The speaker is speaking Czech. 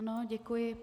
Ano, děkuji.